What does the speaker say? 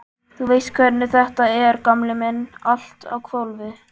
Þú veist hvernig þetta er, gamli minn, allt á hvolfi.